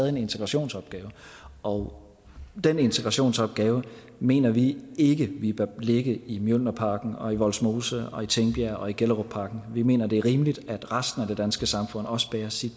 en integrationsopgave og den integrationsopgave mener vi ikke vi bør lægge i mjølnerparken og i vollsmose og i tingbjerg og i gellerupparken vi mener det er rimeligt at resten af det danske samfund også bærer sin